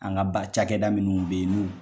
An ka ba cakɛda minnu bɛ ye n'u.